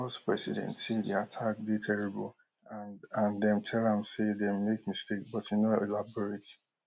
di us president say di attack dey terrible and and dem tell am say dem make mistake but e no elaborate